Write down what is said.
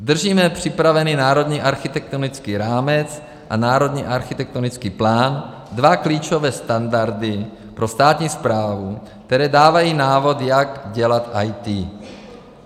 Držíme připravený Národní architektonický rámec a Národní architektonický plán, dva klíčové standardy pro státní správu, které dávají návod, jak dělat IT.